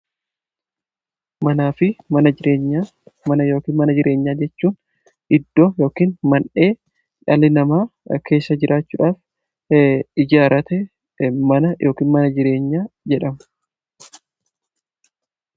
Mana yookiin mana jireenyaa jechuun, iddoo yookiin mandhee dhalli namaa keessa jiraachuuf ijaarratuudha.